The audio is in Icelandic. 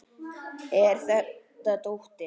Er þetta dóttir.